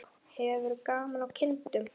Hefur þú gaman af kindum?